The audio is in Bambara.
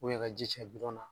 i ka ji cɛ na.